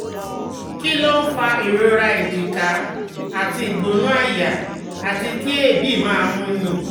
Kí ló ń fa ìrora èjìká àti igbona aya àti kí ̀eebi máa múni?